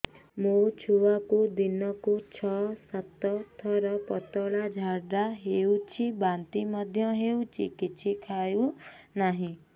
ମୋ ଛୁଆକୁ ଦିନକୁ ଛ ସାତ ଥର ପତଳା ଝାଡ଼ା ହେଉଛି ବାନ୍ତି ମଧ୍ୟ ହେଉଛି କିଛି ଖାଉ ନାହିଁ